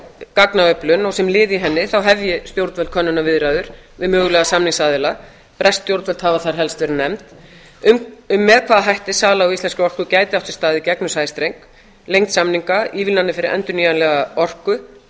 gagnaöflun og sem lið í henni þá hefji stjórnvöld könnunarviðræður við mögulega samningsaðila bresk stjórnvöld hafa þar helst verið nefnd með hvaða hætti sala á íslenskri orku gæti átt sér stað í gegnum sæstreng lengd samninga ívilnanir fyrir endurnýjanlega orku